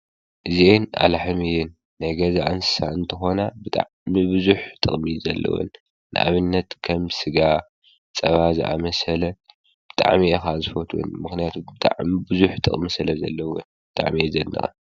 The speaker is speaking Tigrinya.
እዚኣን ኣለሕም እየን፡፡ ናይ ገዛ እንስሳ እንትኮና ቡዙሕ ጥቅሚ እዩ ዘለወን፡፡ ንኣብነት ከም ስጋ፣ ፀባ ዝኣምሰለ ብጣዕሚ እየ ከዓ ዝፈትወን ፡፡ ምክንያቱ ብጣዕሚ ብዙሕ ጥቅሚ ስለ ዘለወን ብጣዕሚ እየ ዘድንቀን፡፡